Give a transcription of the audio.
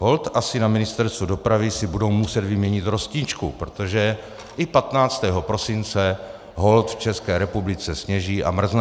Holt asi na Ministerstvu dopravy si budou muset vyměnit rosničku, protože i 15. prosince holt v České republice sněží a mrzne.